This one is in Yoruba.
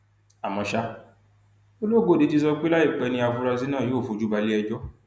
àmọ ṣá ológóde ti sọ pé láìpẹ ni àfúráṣí náà yóò fojú balẹẹjọ